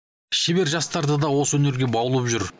шебер жастарды да осы өнерге баулып жүр